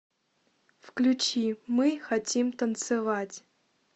включи мы хотим танцевать